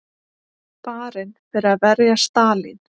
Barinn fyrir að verja Stalín